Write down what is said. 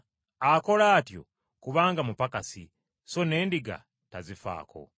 Akola atyo kubanga mupakasi, so n’endiga tazifaako.